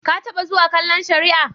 Ka taɓa zuwa kallon shari'a?